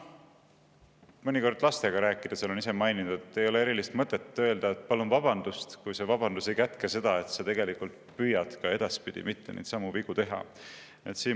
Mõnikord ma lastega rääkides olen neile öelnud, et ei ole erilist mõtet öelda, et palun vabandust, kui see vabandus ei kätke seda, et sa tegelikult püüad edaspidi mitte neidsamu vigu teha.